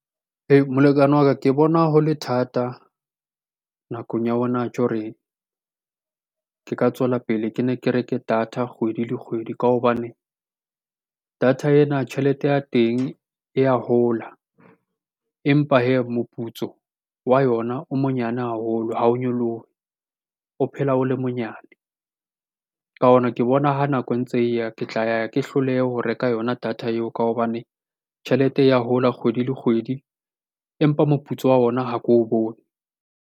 Molekane wa ka ke bona ho le thata nakong ya hona tje hore ke ka tswela pele ke ne ke reke data kgwedi le kgwedi. Ka hobane data ena tjhelete ya teng e ya hola empa hee moputso wa yona o monyane haholo, ha o nyolohe o phela o le monyane. Ka ona ke bona ha nako e ntse e ya, ke tla ya ke hlolehe ho reka yona data eo ka hobane tjhelete e ya hola kgwedi le kgwedi empa moputso wa ona ha ko o bone.